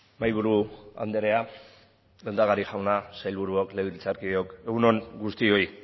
mahaiburu andrea lehendakari jauna sailburuok legebiltzarkideok egun on guztioi